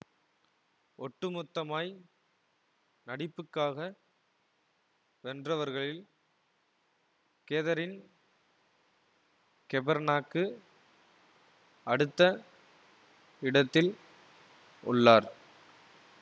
ஒட்டுமொத்தமாய் நடிப்புக்காக வென்றவர்களில் கேதரின் கெபர்னாக்கு அடுத்த இடத்தில் உள்ளார்